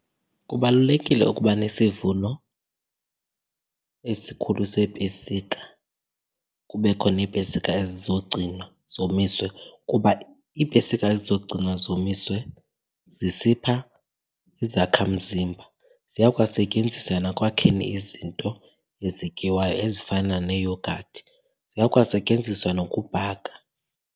Kubalulekile ukuba nesivuno esikhulu seepesika kubekho neepesika ezizogcinwa zomiswe kuba iipesika ezizogcinwa zomiswe zisipha izakhamzimba. Ziyakwasetyenziswa nakwakheni izinto ezityiwayo ezifana nee-yoghurt, ziyakwasetyenziswa nokubhaka.